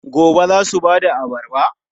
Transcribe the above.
Gobe ​​za su ba da abarba?